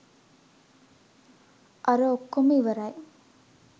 අර ඔක්කොම ඉවරයි